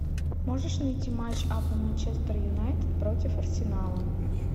можешь найти матч апл манчестер юнайтед против арсенала